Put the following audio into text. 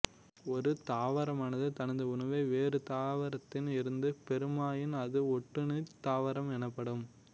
ஒரு தாவரமானது தனது உணவை வேறு தாவரத்தில் இருந்து பெறுமாயின் அது ஒட்டுண்ணித் தாவரம் எனப்படும்